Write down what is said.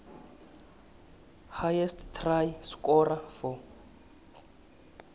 highest try scorer for